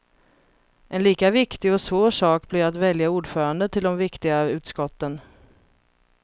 En lika viktig och svår sak blir att välja ordförande till de viktiga utskotten.